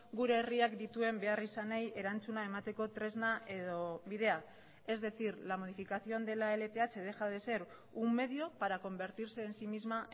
gure herriak dituen beharrizanei erantzuna emateko tresna edo bidea es decir la modificación de la lth deja de ser un medio para convertirse en sí misma